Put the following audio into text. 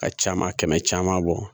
Ka caaman kɛmɛ caman bɔ